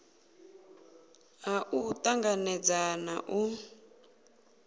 ha u tanganedza na u